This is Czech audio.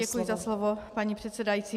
Děkuji za slovo, paní předsedající.